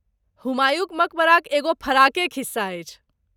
हुमायूँक मकबराक एगो फराके खिस्सा अछि।